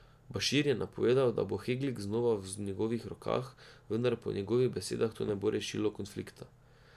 Bašir je napovedal, da bo Heglig znova v njihovih rokah, vendar po njegovih besedah to ne bo rešilo konflikta.